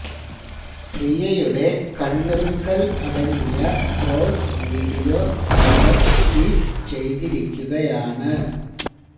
പ്രിയയുടെ കണ്ണിറുക്കല് അടങ്ങിയ ട്രോള് വീഡിയോ താരം ട്വീറ്റ് ചെയ്തിരിക്കുകയാണ്